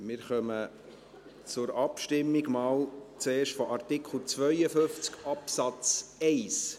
Wir kommen zur Abstimmung, zuerst einmal zu Artikel 52 Absatz 1.